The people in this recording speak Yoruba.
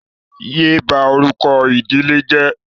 Yé bá orúkọ ìdílé yìí jẹ́!